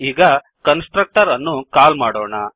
ಈಗ constructor ಅನ್ನು call ಮಾಡೋಣ